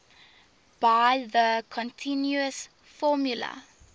by the continuous formula